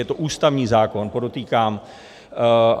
Je to ústavní zákon, podotýkám.